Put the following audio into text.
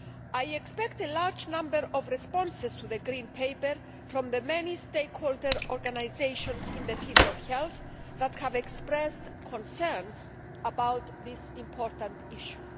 I expect a large number of responses to the Green Paper from the many stakeholder organisations in the field of health that have expressed concerns about this important issue.